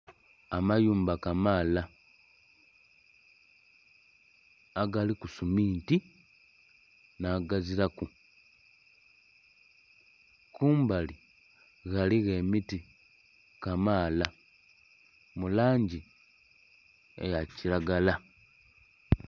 Amayumba kamaala agaliku suminti nagaziraku kumbali ghaligho emiti kamaala mulangi eya kiragala.